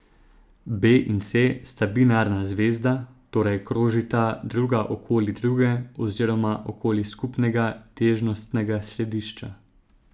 B in C sta binarna zvezda, torej krožita druga okoli druge oziroma okoli skupnega težnostnega središča.